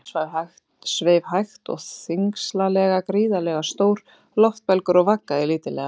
Inn fjörðinn sveif hægt og þyngslalega gríðarlega stór loftbelgur og vaggaði lítillega.